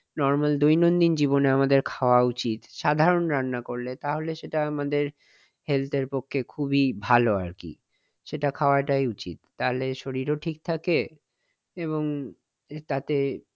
normal দৈনন্দিন জীবনে আমাদের খাওয়া উচিত। সাধারণ রান্না করলে তাহলে সেটা আমাদের health এর পক্ষে খুবই ভালো আরকি। সেটা খাওয়াটা উচিত তাহলে শরীরও ঠিক থাকে এবং তাতে